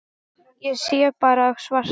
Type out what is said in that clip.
Ég sé bara svart.